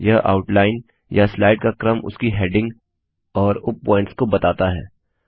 यह आउटलाइन या स्लाइड का क्रम उसकी हेडिंग और उप पॉइंट्स के बताता है